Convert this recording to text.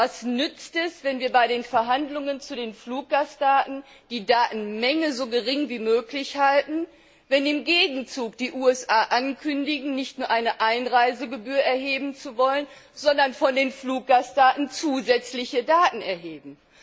Was nützt es, wenn wir bei den Verhandlungen zu den Fluggastdaten die Datenmenge so gering wie möglich halten, wenn im Gegenzug die USA ankündigen, nicht nur eine Einreisegebühr erheben zu wollen, sondern von den Fluggästen zusätzliche Daten erheben.